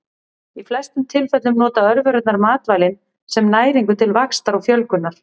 Í flestum tilfellum nota örverurnar matvælin sem næringu til vaxtar og fjölgunar.